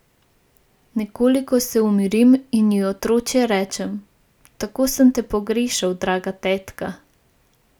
Nekoliko se umirim in ji otročje rečem: "Tako sem te pogrešal, draga tetka!